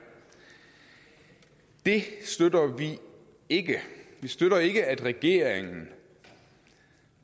det støtter vi ikke vi støtter ikke at regeringen